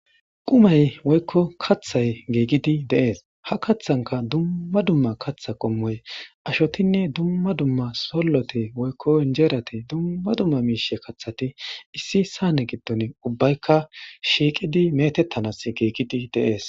qumay woykko kathay geegidi deees ha kaththanka dumma dumma katha qommoy ashotinne dumma dumma solloti woykko injeerati dumma dumma miishe kathati issi saane giddon ubbaykka shiiqidi metettanas geegidi deees